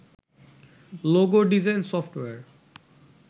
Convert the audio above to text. logo design software